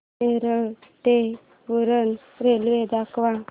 नेरूळ ते उरण रेल्वे दाखव